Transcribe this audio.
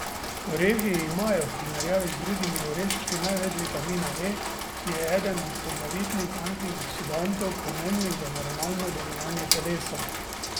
Orehi imajo v primerjavi z drugimi oreščki največ vitamina E, ki je eden od poglavitnih antioksidantov, pomembnih za normalno delovanje telesa.